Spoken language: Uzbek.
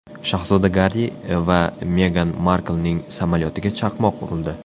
Shahzoda Garri va Megan Marklning samolyotiga chaqmoq urildi.